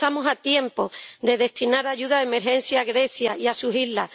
Estamos a tiempo de destinar ayuda de emergencia a Grecia y a sus islas.